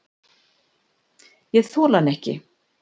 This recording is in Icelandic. Ég þoli hann ekki.